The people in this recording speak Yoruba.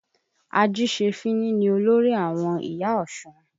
Ajìṣefíní ni olórí àwọn ìyá Ọ̀ṣun.